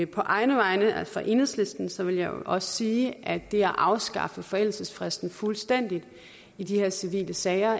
på egne vegne altså enhedslistens vil jeg også sige at det at afskaffe forældelsesfristen fuldstændig i de her civile sager